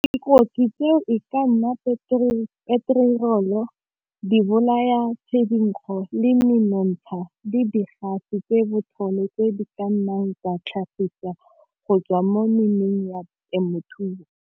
Dikotsi tseo e ka nna peterolo di bolaya le menontsha di tse botlhole tse di ka nnang tsa tlhagisetsa go tswa mo ya temothuo.